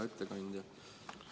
Hea ettekandja!